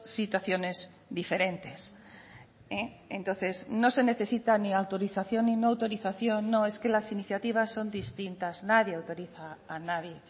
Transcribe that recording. situaciones diferentes entonces no se necesita ni autorización ni no autorización no es que las iniciativas son distintas nadie autoriza a nadie